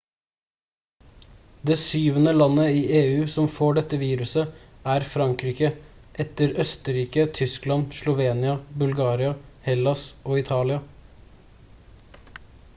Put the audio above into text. det syvende landet i eu som får dette viruset er frankrike etter østerrike tyskland slovenia bulgaria hellas og italia